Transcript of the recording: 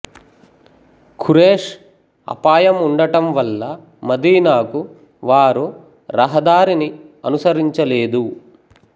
ఖురేష్ అపాయం ఉండటం వల్ల మదీనాకు వారు రహదారిని అనుసరించలేదు